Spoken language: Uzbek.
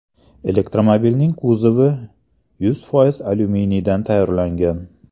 Elektromobilning kuzovi yuz foiz alyuminiydan tayyorlangan.